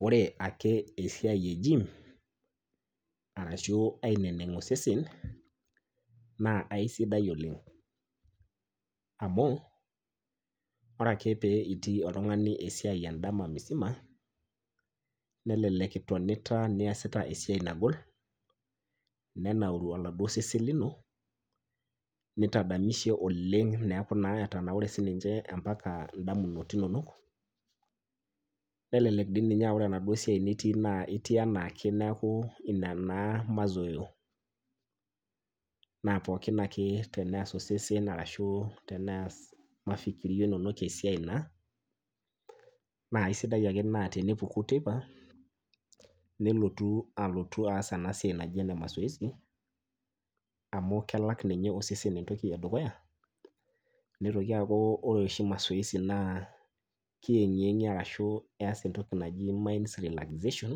Wore ake esiai ejim, arashu aineneng osesen, naa aisidai oleng'. Amu, wore ake pee itii oltungani esiai endama misima, nelelek itonita niasita esiai nagol, nenauru oladuo sesen lino, nitadamishe oleng' neeku naa etanaure sininche ambaka indamunot inonok. Nelelek dii ninye aa wore enaduo siai nitii naa itii enaake neeku inia naa maszoeo. Naa pookin ake teneas osesen arashu teneas mafikirio inonok esiai naa, naa aisidai ake naa tenipuku teipa, nilotu alotu aas ena siai naji ene masoesi, amu kelak ninye osesen entoki edukuya, nitoki aaku wore oshi masoezi naa kiyengiyengie arashu keas entoki naji mind relaxation,